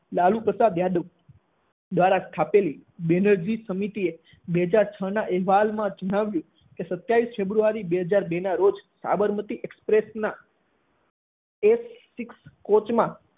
લાલુ પ્રસાદ યાદવ દ્વારા સ્થપાયેલી બેનર્જી સમિતિએ બે હાજર છ નાં અહેવાલમાં જણાવ્યું કે સત્યાવીસ ફેબ્રુઆરી બે હાજર બે નાં રોજ સાબરમતી એક્સપ્રેસના six કોચ માં